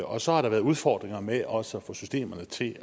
og så har der været udfordringer med også at få systemerne til